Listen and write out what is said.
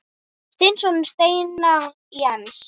Þinn sonur, Steinar Jens.